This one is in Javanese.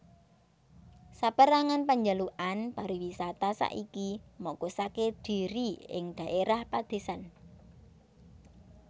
Sapérangan panjalukan pariwisata saiki mokusaké dhiri ing dhaérah padésan